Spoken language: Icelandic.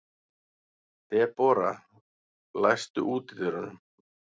Debora, læstu útidyrunum.